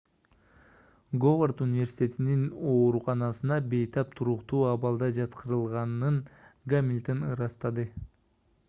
говард университетинин ооруканасына бейтап туруктуу абалда жаткырылганын гамильтон ырастады